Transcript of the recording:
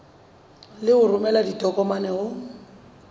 le ho romela ditokomane ho